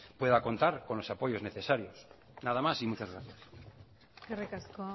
pueda contar con los apoyos necesarios nada más y muchas gracias eskerrik asko